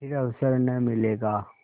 फिर अवसर न मिलेगा